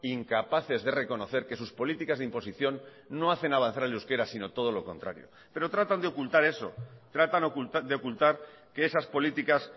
incapaces de reconocer que sus políticas de imposición no hacen avanzar el euskera sino todo lo contrario pero tratan de ocultar eso tratan de ocultar que esas políticas